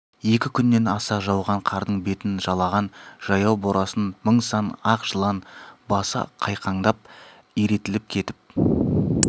екі күннен аса жауған қардың бетін жалаған жаяу борасын мың-сан ақ жылан басы қайқаңдап иретіліп кетіп